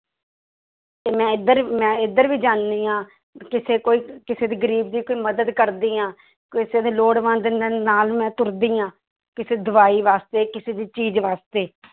ਤੇ ਮੈਂ ਇੱਧਰ ਮੈਂ ਇੱਧਰ ਵੀ ਜਾਂਦੀ ਹਾਂ ਕਿਸੇ ਕੋਈ ਕਿਸੇ ਦੀ ਗ਼ਰੀਬ ਦੀ ਕੋਈ ਮਦਦ ਕਰਦੀ ਹਾਂ, ਕਿਸੇ ਦੇ ਲੋੜਵੰਦ ਨ~ ਨਾਲ ਮੈਂ ਤੁਰਦੀ ਹਾਂ ਕਿਸੇ ਦਵਾਈ ਵਾਸਤੇ ਕਿਸੇ ਦੀ ਚੀਜ਼ ਵਾਸਤੇ